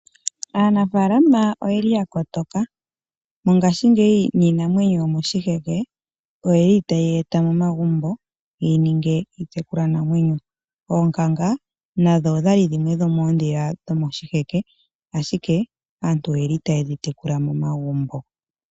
Aanafalama oyeli ya kotoka, mongashingeyi niinamwenyo yomoshiheke oyeli taye yi eta momagumbo ye ti ninge iitekulwanamwenyo. Oonkanga nadho odhali dhimwe dho moondhila dhomoshiheke, ashike aantu oyeli taye dhi tekula momagumbo.